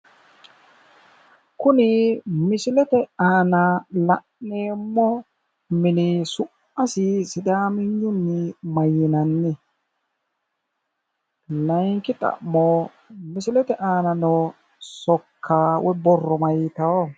Kuni misilete aana la'neemmo mini su'masi sidaaminyunni mayyiinanni? laayiinki xa'mo misilete aana noo sokka woyi borro maayitawo?